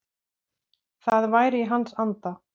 Það væri í hans anda.